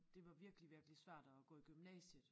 Det var virkelig virkelig svært at gå i gymnasiet